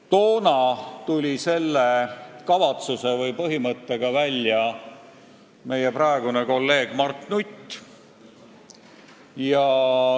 Toona tuli selle põhimõttega välja meie praegune kolleeg Mart Nutt.